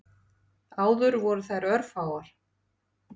Áður voru þær örfáar.